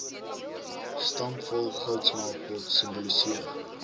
stampvol goudsmeltpot simboliseer